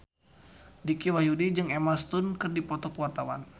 Dicky Wahyudi jeung Emma Stone keur dipoto ku wartawan